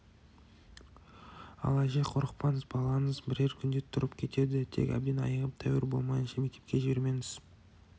ал әже қорықпаңыз балаңыз бірер күнде тұрып кетеді тек әбден айығып тәуір болмайынша мектепке жібермеңіз